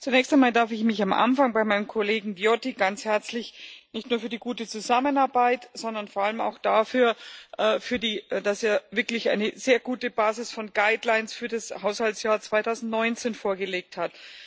Zunächst einmal darf ich mich am Anfang bei meinem Kollegen Viotti ganz herzlich bedanken, nicht nur für die gute Zusammenarbeit, sondern vor allem auch dafür, dass er wirklich eine sehr gute Basis von für das Haushaltsjahr 2019 vorgelegt hat.